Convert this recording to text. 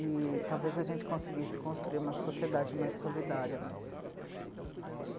E talvez a gente conseguisse construir uma sociedade mais solidária mesmo.